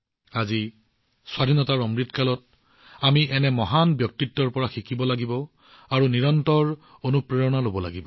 আজি আজাদী কা অমৃতকালত আমি এনে মহান ব্যক্তিত্বৰ পৰা শিকিব লাগিব আৰু তেওঁলোকৰ পৰা নিৰন্তৰে অনুপ্ৰেৰণা লব লাগিব